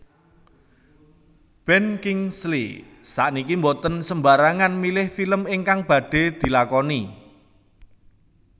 Ben Kingsley sakniki mboten sembarangan milih film ingkang badhe dilakoni